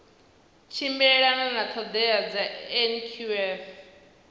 tshimbilelana na ṱhoḓea dza nqf